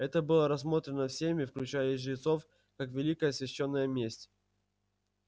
это было рассмотрено всеми включая и жрецов как великая свящённая месть